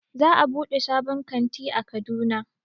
Za a buɗe sabon kanti a Kaduna